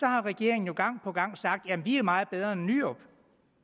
har regeringen gang på gang sagt jamen vi er meget bedre end nyrup